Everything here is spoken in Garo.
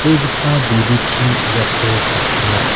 buduchi iako kasringa.